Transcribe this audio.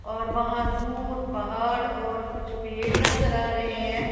और वहां दूर पहाड़ और कुछ पेड़ नजर आ रहे हैं।